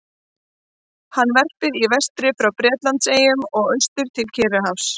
Hann verpir í vestri frá Bretlandseyjum og austur til Kyrrahafs.